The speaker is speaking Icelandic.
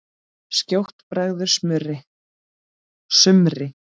Skjótt bregður sumri.